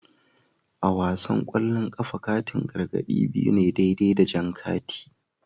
A wasan kwallon kafa, katin gargadi biyu ne daidai da jan kati